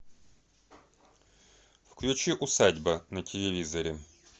включи усадьба на телевизоре